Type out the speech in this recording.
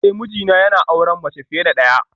Eh mijina yana auren mace fiye da daya